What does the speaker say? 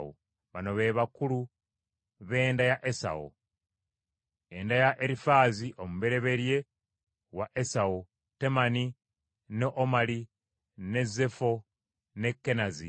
Bano be bakulu b’enda ya Esawu: Enda ya Erifaazi omubereberye wa Esawu: Temani, ne Omali, ne Zefo, ne Kenazi,